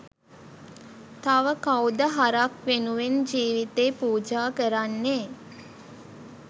තව කවුද හරක් වෙනුවෙන් ජීවිතේ පුජා කරන්නේ?